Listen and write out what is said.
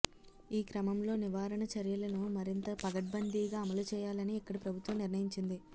ఈ క్రమంలో నివారణ చర్యలను మరింత పకడ్బందీగా అమలు చేయాలని ఇక్కడి ప్రభుత్వం నిర్ణయించింది